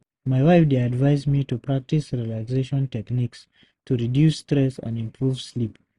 My wife dey advise me to practice relaxation techniques to reduce stress and improve sleep.